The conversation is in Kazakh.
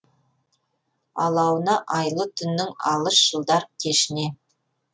алауына айлы түннің алыс жылдар кешіне